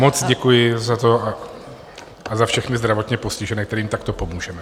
Moc děkuji za to a za všechny zdravotně postižené, kterým takto pomůžeme.